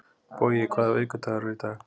Bogi, hvaða vikudagur er í dag?